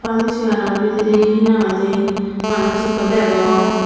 permacy gano bidire he nang hoide manuj ekko degong.